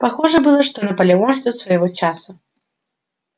похоже было что наполеон ждёт своего часа